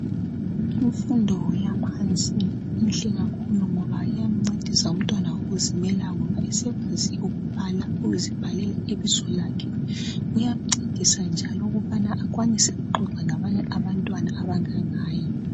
imfundo yaphansi inhle kakhulu ngoba iyamncedisa umntwana ukuzimela ngoba esekwazi ukubala ukuzibhalela ibizo lakhe kuyamncedisa njalo ukubana akwanise ukuxoxa labanye abantwana abangangaye